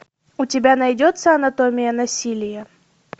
у тебя найдется анатомия насилия